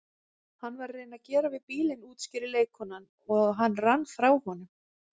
Hann var að reyna að gera við bílinn útskýrir leikkonan, og hann rann frá honum